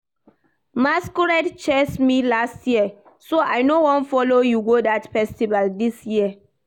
Masquerade chase me last year so I no wan follow you go dat festival dis year